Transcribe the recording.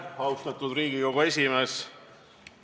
Austatud Riigikogu esimees!